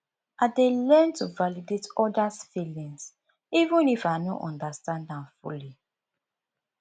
i dey learn to validate others feelings even if i no understand am fully